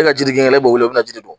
E ka Jire kɛ ne b'o wele, o bɛna jiri don